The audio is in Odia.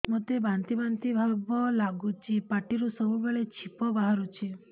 ମୋତେ ବାନ୍ତି ବାନ୍ତି ଭାବ ଲାଗୁଚି ପାଟିରୁ ସବୁ ବେଳେ ଛିପ ବାହାରୁଛି